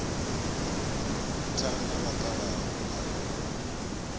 tha na vhakalaha u ṱalela